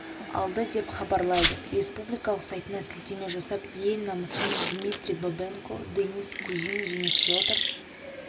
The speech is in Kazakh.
алды деп хабарлайды республикалық сайтына сілтеме жасап ел намысын дмитрий бабенко денис кузин және федор